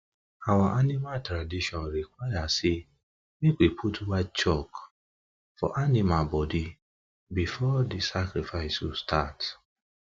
our animal tradition require say make we put white chalk for white chalk for animal body before the sacrifice go start